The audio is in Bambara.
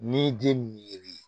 N'i den min ye